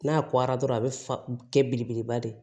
N'a kɔra dɔrɔn a bɛ fa kɛ belebeleba de ye